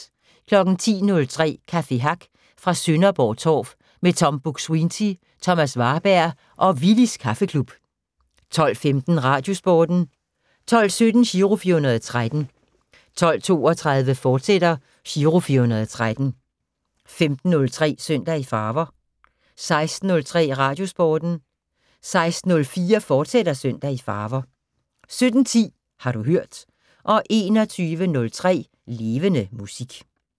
10:03: Café Hack fra Sønderborg Torv med Tom Buk-Swienty, Thomas Warberg og Willys Kaffeklub 12:15: Radiosporten 12:17: Giro 413 12:32: Giro 413, fortsat 15:03: Søndag i Farver 16:03: Radiosporten 16:04: Søndag i Farver, fortsat 17:10: Har du hørt 21:03: Levende Musik